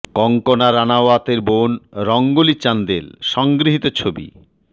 কঙ্গনা রানাওয়াতের বোন রঙ্গোলি চান্দেল সংগৃহীত ছবি